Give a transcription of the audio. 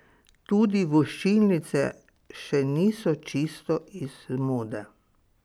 Tudi voščilnice še niso čisto iz mode.